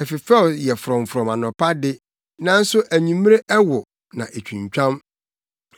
ɛfefɛw yɛ frɔmfrɔm anɔpa de, nanso anwummere ɛwo na etwintwam.